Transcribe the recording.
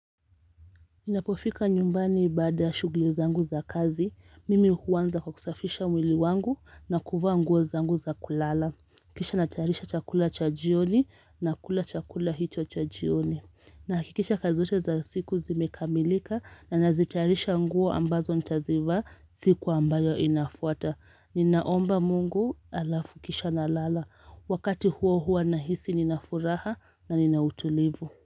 Ninapofika nyumbani baada shughuli zangu za kazi, mimi huanza kwa kusafisha mwili wangu na kuvaa nguo zangu za kulala. Kisha natayarisha chakula cha jioni nakula chakula hicho cha jioni. Nahakikisha kazi zote za siku zimekamilika na nazitayarisha nguo ambazo nitazivaa siku ambayo inafuata. Ninaomba mungu alafu kisha na lala. Wakati huo huo nahisi ninafuraha na ninautulivu.